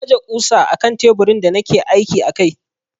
Na aje ƙusa akan teburin da nake aiki a kai.